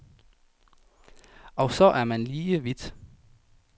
Og så er man lige vidt.